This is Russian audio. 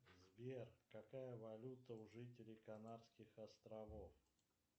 сбер какая валюта у жителей канадских островов